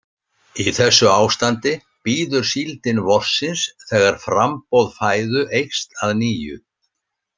Í þessu ástandi bíður síldin vorsins þegar framboð fæðu eykst að nýju.